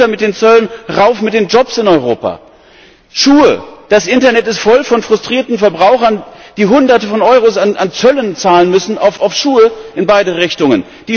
Runter mit den Zöllen, rauf mit den Jobs in Europa! Schuhe Das Internet ist voll von frustrierten Verbrauchern, die Hunderte von Euro an Zöllen zahlen müssen auf Schuhe in beide Richtungen.